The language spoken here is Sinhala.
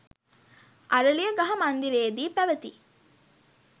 අරලියගහ මන්දිරයේදී පැවති